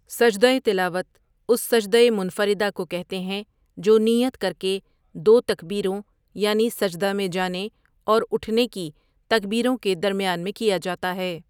سجدہ تلاوت اُس سجدہ منفردہ کو کہتے ہیں جو نیت کرکے دو تکبیروں یعنی سجدہ میں جانے اور اُٹھنے کی تکبیروں کے درمیان میں کیا جاتا ہے